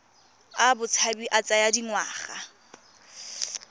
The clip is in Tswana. a botshabi a tsaya dingwaga